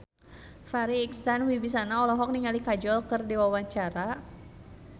Farri Icksan Wibisana olohok ningali Kajol keur diwawancara